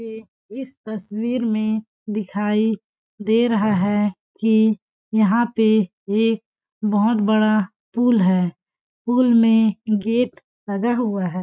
एक इस तस्वीर में दिखाई दे रहा है कि यहाँ पे एक बहोत बड़ा पूल है पूल में गेट लगा हुआ हैं।